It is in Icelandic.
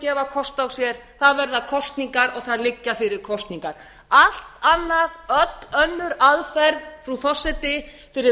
gefa kost á sér það verða kosningar það liggja fyrir kosningar allt annað öll önnur aðferð frú forseti fyrir